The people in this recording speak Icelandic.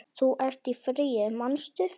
Þú ert í fríi, manstu?